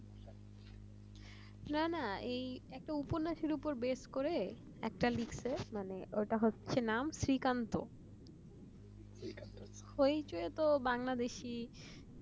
না না এই একটা উপন্যাসের উপর বেস করে ওটা হচ্ছে নাম শ্রীকান্ত hoichoi তো বাংলাদেশী